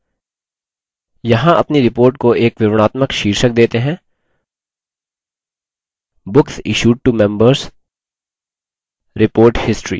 यहाँ अपनी report को एक विवरणात्मक शीर्षक देते हैं: books issued to members: report history